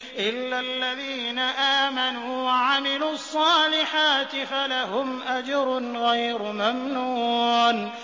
إِلَّا الَّذِينَ آمَنُوا وَعَمِلُوا الصَّالِحَاتِ فَلَهُمْ أَجْرٌ غَيْرُ مَمْنُونٍ